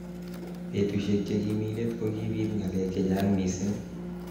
Betushek chekimi let kokibit ngalek chechang missing.